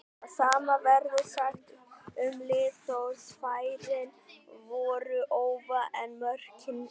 Það sama verður sagt um lið Þórs, færin voru ófá en mörkin engin.